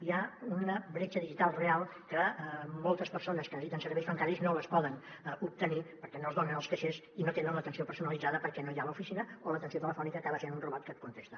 hi ha una bretxa digital real que moltes persones que necessiten serveis bancaris no els poden obtenir perquè no es donen als caixers i no tenen l’atenció personalitzada perquè no hi ha l’oficina o l’atenció telefònica acaba sent un robot que et contesta